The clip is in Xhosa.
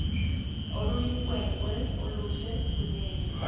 oluyinkwenkwe oluhle kunene